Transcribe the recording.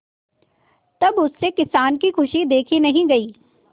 तब उससे किसान की खुशी देखी नहीं गई